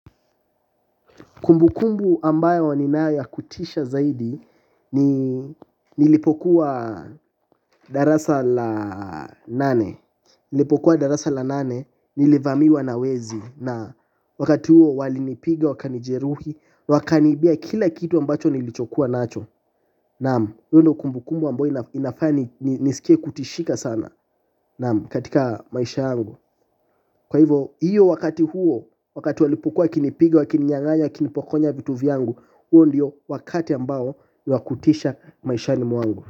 Kumbukumbu ambayo ninayo ya kutisha zaidi nilipokuwa darasa la nane nilipokuwa darasa la nane nilivamiwa na wezi na wakati huo walinipiga wakanijeruhi wakaniibia kila kitu ambacho nilichokuwa nacho. Naam, hiyo ndio kumbukumbu ambayo inafanya nisikie kutishika sana. Naam, katika maisha yangu. Kwa hivo, hiyo wakati huo wakati walipokuwa wakinipiga, wakininyang'anya, wakinipokonya vitu vyangu. Huo ndio wakati ambao wa kutisha maishani mwangu.